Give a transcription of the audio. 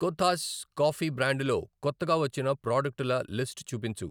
Kothas coffee బ్రాండులో కొత్తగా వచ్చిన ప్రాడక్టుల లిస్టు చూపించు?